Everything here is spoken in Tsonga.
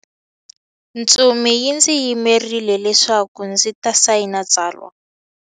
Ntsumi yi ndzi yimerile leswaku ndzi ta sayina tsalwa.